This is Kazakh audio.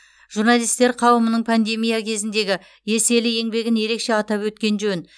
журналистер қауымының пандемия кезіндегі еселі еңбегін ерекше атап өткен жөн